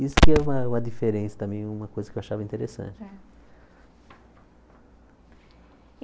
Isso que é uma uma diferença também, uma coisa que eu achava interessante. É